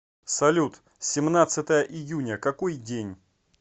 салют семнадцатое июня какой день